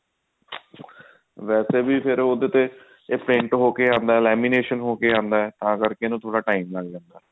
ਵੇਸੇ ਵੀ ਫ਼ੇਰ ਉਹਦੇ ਤੇ print ਹੋ ਕੇ ਆਉਂਦਾ lamination ਹੋ ਕੇ ਆਉਂਦਾ ਤਾਂ ਕਰਕੇ ਇਹਨੂੰ ਥੋੜਾ time ਲੱਗ ਜਾਂਦਾ